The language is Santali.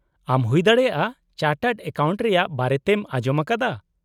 -ᱟᱢ ᱦᱩᱭᱫᱟᱲᱮᱭᱟᱜᱼᱟ ᱪᱟᱨᱴᱟᱨᱰ ᱮᱠᱟᱣᱩᱱᱴ ᱨᱮᱭᱟᱜ ᱵᱟᱨᱮ ᱛᱮᱢ ᱟᱸᱡᱚᱢ ᱟᱠᱟᱫᱟ ?